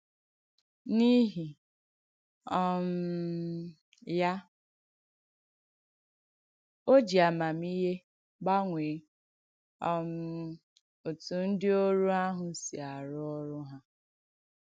N’ìhì um ya, ò jì àmàmìhè gbànwè um òtù ndí òrù àhụ̄ sì árụ́ òrù hà.